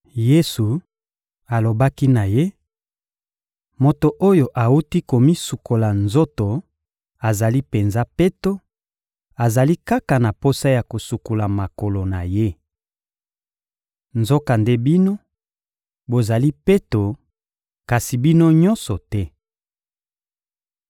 Yesu alobaki na ye: — Moto oyo awuti komisukola nzoto azali penza peto; azali kaka na posa ya kosukola makolo na ye. Nzokande bino, bozali peto; kasi bino nyonso te.